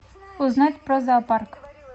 узнать про зоопарк